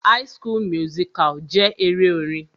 High school musical jẹ́ eré orin.